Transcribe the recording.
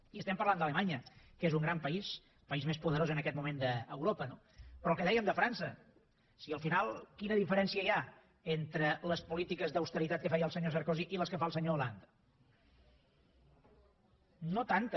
i estem parlant d’alemanya que és un gran país el país més poderós en aquest moment d’europa no però el que dèiem de frança si al final quina diferència hi ha entre les polítiques d’austeritat que feia el senyor sarkozy i les que fa el senyor hollande no tanta